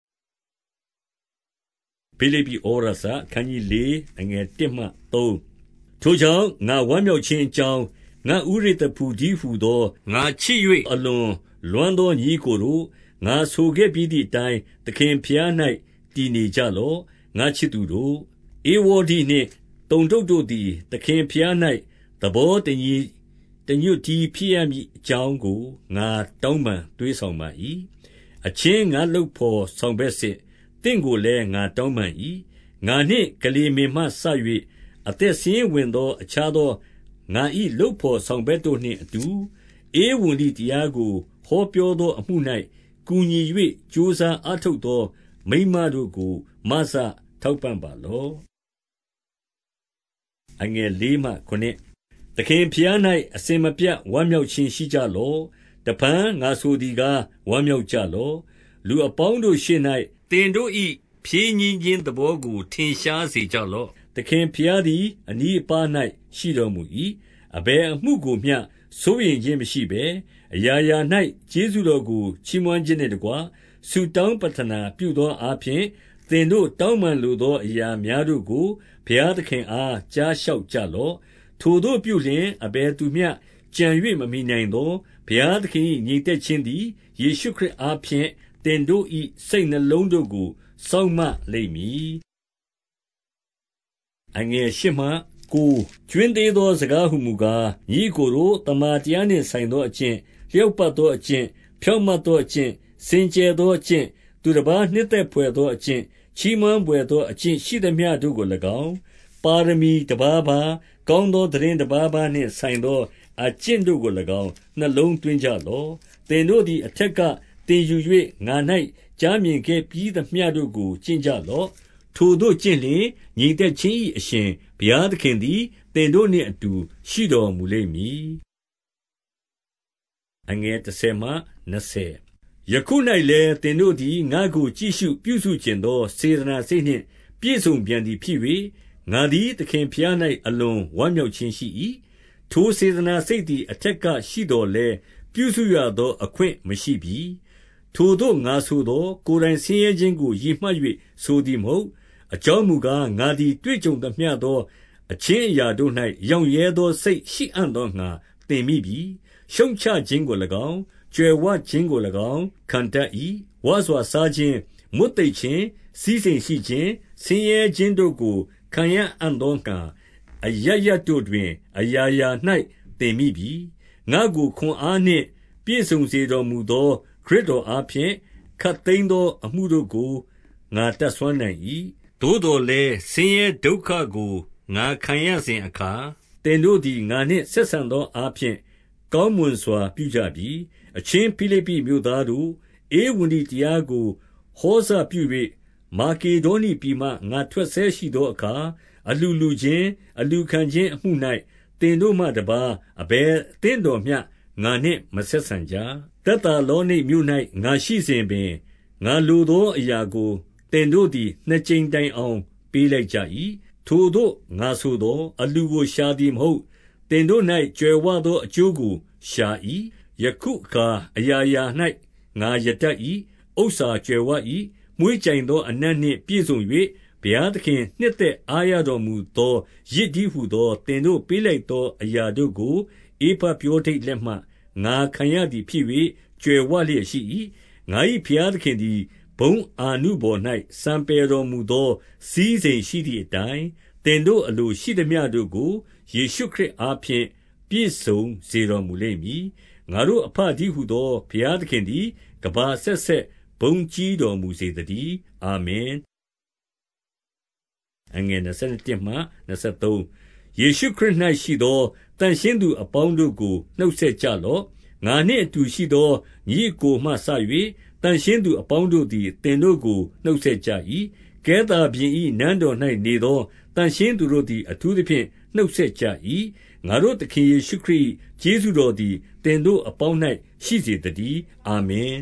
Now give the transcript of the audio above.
ဖိလိပ္ပိ​ဩဝါဒစာ။ အခနျး 4 အခနျး ၄ ထိုကြောင့် ငါဝမ်းမြောက်ခြင်းအကြောင်း၊ ငါ့ဦးရစ်သရဖူတည်းဟူသော၊ ငါချစ်၍ အလွန်လွမ်းသော ညီအစ်ကိုတို့၊ ငါဆိုခဲ့ပြီးသည်အတိုင်း သခင်ဘုရား၌ တည်နေကြလော့၊ ငါ့ချစ်သူတို့။ 2 ဧဝေါဒိနှင့်သုန္တုတ်တို့သည် သခင်ဘုရား၌ သဘော တညီတညွတ်တည်း ဖြစ်ရကြမည်အကြောင်းကို ငါတောင်းပန် သွေးဆောင်ပါ၏။ 3 အချင်း ငါ့လုပ်ဘော်ဆောင်ဘက်စစ်၊ သင်တို့ကိုလည်း ငါတောင်းပန်၏။ ငါနှင့်ကလေမင်မှစ၍ အသက်စာရင်းဝင်သော အခြားသောငါ၏လုပ်ဘော်ဆောင်ဘက်တို့နှင့်အတူ၊ ဧဝံဂေလိတရားကို ဟောပြောသောအမှု၌ ကူညီ၍ ကြိုးစားအားထုတ်သော မိန်းမတို့ကို မစ ထောက်ပံ့ပါလော့။ 4 သခင်ဘုရား၌ အစဉ်မပြတ် ဝမ်းမြောက်ခြင်း ရှိကြလော့။ တဖန် ငါဆိုသည်ကား ဝမ်းမြောက်ကြလော့။ 5 လူအပေါင်းတို့ရှေ့၌ သင်တို့၏ ဖြည့်ညှင်းခြင်း သဘောကို ထင်ရှားစေကြလော့။ သခင်ဘုရားသည် အနီးအပါး၌ ရှိတော်မူ၏။ 6 အဘယ်အမှုကိုမျှ စိုးရိမ်ခြင်းမရှိဘဲ အရာရာ၌ ကျေးဇူးတော်ကို ချီးမွမ်းခြင်းနှင့်တကွ ဆုတောင်းပဌနာ ပြုသောအားဖြင့်၊ သင်တို့တောင်း ပန်လိုသောအရာများတို့ကို ဘုရားသခင်အား ကြားလျှောက်ကြလော့။ 7 ထိုသို့ပြုလျှင် အဘယ်သူမျှကြုံ၍ မမှီနိုင်သော ဘုရားသခင်၏ ငြိမ်သက်ခြင်းသည် ယေရှုခရစ်အားဖြင့် သင်တို့၏စိတ်နှလုံးတို့ကို စောင့်မလိမ့်မည်။ 8 ကြွင်းသေးသော စကားဟူမူကား၊ ညီအစ်ကိုတို့၊ သမ္မာတရားနှင့် ဆိုင်သောအကျင့်၊ လျောက်ပတ်သော အကျင့်၊ ဖြောင့်မတ်သောအကျင့်၊ စင်ကြယ်သောအကျင့်၊ သူတပါးနှစ်သက်ဘွယ်သောအကျင့်၊ ချီးမွမ်းဘွယ်သောအကျင့် ရှိသမျှတို့ကို၎င်း၊ ပါရမီတပါးပါး၊ ကောင်းသော သိတင်းတပါးပါးနှင့် ဆိုင်သောအကျင့်တို့ကို၎င်း၊ နှလုံးသွင်းကြလော့။ 9 သင်တို့သည် အထက်ကသင်ယူ၍ ငါ၌ကြားမြင် ခဲ့ပြီးသမျှတို့ကို ကျင့်ကြလော့။ ထိုသို့ကျင့်လျှင်၊ ငြိမ်သက် ခြင်း၏ အရှင်ဘုရားသခင်သည် သင်တို့နှင့်အတူ ရှိတော်မူလိမ့်မည်။ 10 ယခု၌လည်း သင်တို့သည် ငါ့ကို ကြည့်ရှုပြုစုချင်သော စေတနာစိတ်နှင့် ပြည့်စုံပြန်သည်ဖြစ်၍၊ ငါသည် သခင်ဘုရား၌ အလွန်ဝမ်းမြောက်ခြင်းရှိ၏။ ထိုစေတနာစိတ်သည် အထက်ကရှိသော်လည်း ပြုစုရသောအခွင့် မရှိပြီ။ 11 ထိုသို့ငါဆိုသော်၊ ကိုယ်တိုင်ဆင်းရဲခြင်းကို ရည်မှတ်၍ ဆိုသည်မဟုတ်။ အကြောင်းမူကား၊ ငါသည် တွေ့ကြုံသမျှသော အခြင်းအရာတို့၌ ရောင့်ရဲသောစိတ် ရှိအံ့သောငှါ သင်မိပြီ။ 12 ရှုတ်ချခြင်းကို၎င်း၊ ကြွယ်ဝခြင်းကို၎င်း၊ ခံတတ်၏။ ဝစွာစားခြင်း၊ မွတ်သိပ်ခြင်း၊ စည်းစိမ်ရှိခြင်း၊ ဆင်းရဲ ခြင်းတို့ကို ခံရအံ့သောငှါ၊ အရပ်ရပ်တို့တွင် အရာရာ၌ သင်မိပြီ။ 13 ငါ့ကို ခွန်အားနှင့်ပြည့်စုံစေတော်မူသော ခရစ်တော်အားဖြင့် ခပ်သိမ်းသောအမှုတို့ကို ငါတတ်စွမ်း နိုင်၏။ 14 သို့သော်လည်း ဆင်းရဲဒုက္ခကိုငါ ခံရစဉ်အခါ၊ သင်တို့သည် ငါနှင့်ဆက်ဆံသောအားဖြင့် ကောင်းမွန်စွာ ပြုကြပြီ။ 15 အချင်းဖိလိပ္ပိမြို့သားတို့၊ ဧဝံဂေလိတရားကို ဟောစပြု၍၊ မာကေဒေါနိပြည်မှ ငါထွက်ဆဲရှိသောအခါ အလှူလှူခြင်း၊ အလှူခံခြင်းအမှု၌၊ သင်တို့မှတပါး အဘယ်အသင်းတော်မျှငါနှင့်မဆက်ဆံကြ။ 16 သက်သာလောနိတ်မြို့၌ ငါရှိစဉ်ပင်၊ ငါလိုသောအရာကို သင်တို့သည် နှစ်ကြိမ်တိုင်အောင် ပေးလိုက် ကြ၏။ 17 ထိုသို့ငါဆိုသော်၊ အလှူကို ရှာသည်မဟုတ်၊ သင်တို့၌ ကြွယ်ဝသောအကျိုးကို ရှာ၏။ 18 ယခုအခါ အရာရာ၌ငါရတတ်၏။ ဥစ္စာကြွယ်ဝ၏။ မွှေးကြိုင်သောအနံ့နှင့် ပြည့်စုံ၍၊ ဘုရားသခင် နှစ်သက်အားရတော်မူသော ယဇ်တည်းဟူသော သင်တို့ ပေးလိုက်သောအရာတို့ကို ဧပဖြောဒိတ်လက်မှ ငါခံရ သည်ဖြစ်၍ ကြွယ်ဝလျက်ရှိ၏။ 19 ငါ၏ဘုရားသခင်သည် ဘုန်းအာနုဘော်၌ စံပယ်တော်မူသော စည်းစိမ်ရှိသည်အတိုင်း၊ သင်တို့အလို ရှိသမျှတို့ကို ယေရှုခရစ်အားဖြင့် ပြည့်စုံစေတော်မူလိမ့် မည်။ 20 ငါတို့အဘတည်းဟူသော ဘုရားသခင်သည် ကမ္ဘာအဆက်ဆက် ဘုန်းကြီးတော်မူစေသတည်း။ အာမင်။ 21 ယေရှုခရစ်၌ရှိသော သန့်ရှင်းသူအပေါင်းတို့ကို နှုတ်ဆက်ကြလော့။ 22 ငါနှင့်အတူရှိသော ညီအစ်ကိုမှစ၍ သန့်ရှင်းသော သူအပေါင်းတို့သည် သင်တို့ကို နှုတ်ဆက်ကြ၏။ ကဲသာဘုရင်၏ နန်းတော်၌နေသော သန့်ရှင်းသူတို့သည် အထူးသဖြင့် နှုတ်ဆက်ကြ၏။ 23 ငါတို့သခင်ယေရှုခရစ်၏ ကျေးဇူးတော်သည် သင်တို့အပေါင်း၌ရှိစေသတည်း။ အာမင်